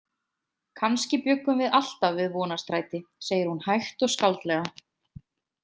Kannski bjuggum við alltaf við Vonarstræti, segir hún hægt og skáldlega.